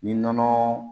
Ni nɔnɔ